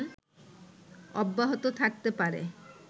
অব্যাহত থাকতে পারে